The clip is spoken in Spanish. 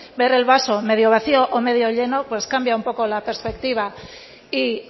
ver el vaso medio vacío o medio lleno pues cambia un poco la perspectiva y